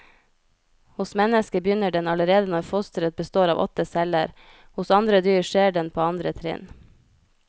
Hos mennesket begynner den allerede når fosteret består av åtte celler, hos andre dyr skjer den på andre trinn.